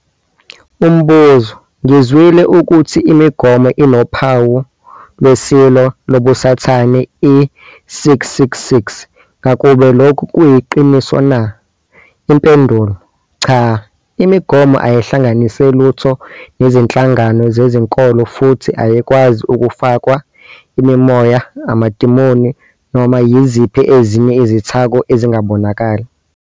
Umbuzo- Ngizwile ukuthi imigomo inophawu lweSilo, lobuSathane, - i-666. Ngakube lokhu kuyiqiniso na? Impendulo- Cha. Imigomo ayihlanganise lutho nezinhlangano zezinkolo futhi ayikwazi ukufakwa imimoya, amadimoni noma yiziphi ezinye izithako ezingabonakali.